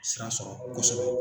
Sira sɔrɔ kosɛbɛ.